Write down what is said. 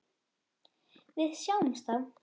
Við sjáumst þá!